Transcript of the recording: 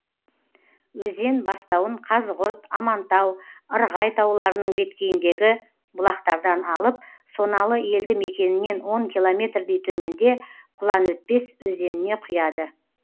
өзен бастауын қазығұрт амантау ырғай тауларының беткейіндегі бұлақтардан алып соналы елді мекенінен он километрдей төменде құланөтпес өзеніне құяды